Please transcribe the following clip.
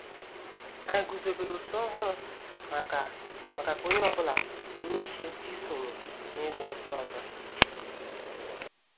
Anyị guzobere òtù ọhụrụ maka maka ka onye ọ bụla nwee ike isonye na igba ọsọ ọzọ